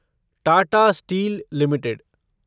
Tata Steel limited